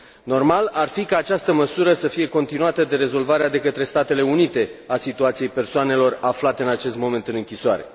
Normal ar fi ca această măsură să fie continuată de rezolvarea de către Statele Unite a situației persoanelor aflate în acest moment în închisoare.